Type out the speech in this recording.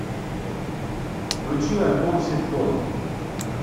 включи альбом ситком